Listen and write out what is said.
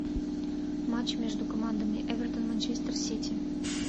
матч между командами эвертон манчестер сити